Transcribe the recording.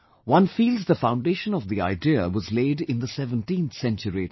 One feels the foundation of the idea was laid in the 17th century itself